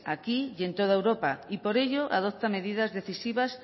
aquí y en toda europa y por ello adopta medidas decisivas